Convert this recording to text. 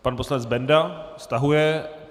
Pan poslanec Benda stahuje.